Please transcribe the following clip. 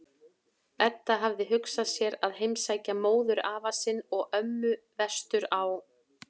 Edda hafði hugsað sér að heimsækja móðurafa sinn og-ömmu vestur á